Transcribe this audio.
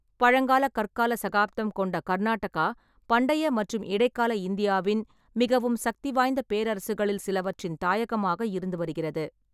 பழங்கால கற்கால சகாப்தம் கொண்ட கர்நாடகா, பண்டைய மற்றும் இடைக்கால இந்தியாவின் மிகவும் சக்திவாய்ந்த பேரரசுகளில் சிலவற்றின் தாயகமாக இருந்து வருகிறது.